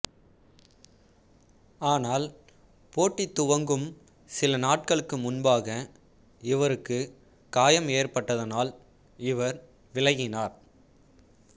ஆனால் போட்டி துவங்கும் சில நாட்களுக்கு முன்பாக இவருக்கு காயம் ஏற்பட்டதானால் இவர் விலகினார்